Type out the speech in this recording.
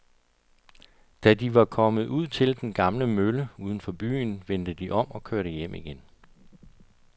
Da de var kommet ud til den gamle mølle uden for byen, vendte de om og kørte hjem igen.